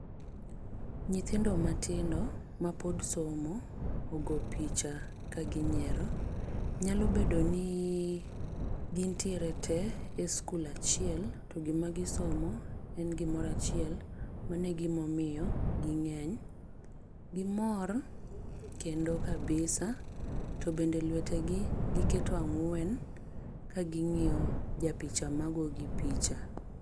Nyithindo matindo ma pod somo ogo picha ka ginyiero. Nyalo bedo ni gintiere te e skul achiel, to gima gisomo en gimoro achiel, mano e gima omiyo ging'eny. Gimor kendo kabisa, to bende lwete gi giketo ang'wen ka ging'iyo japicha magoyo gi picha.